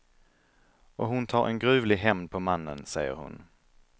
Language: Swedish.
Och hon tar en gruvlig hämnd på mannen, säger hon.